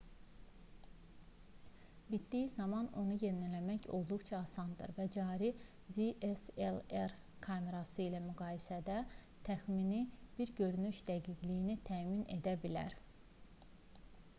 bitdiyi zaman onu yeniləmək olduqca asandır və cari dslr kamerası ilə müqayisədə təxmini bir görünüş dəqiqliyi təmin edə bilər